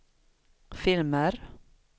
filmer